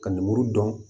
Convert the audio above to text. Ka lemuru dɔn